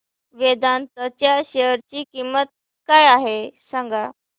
वेदांत च्या शेअर ची किंमत काय आहे सांगा